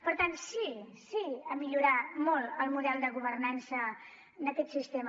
per tant sí sí a millorar molt el model de governança d’aquest sistema